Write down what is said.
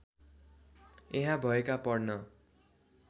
यहाँ भएका पढ्न